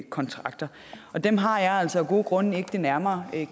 kontrakter og dem har jeg altså af gode grunde ikke det nærmere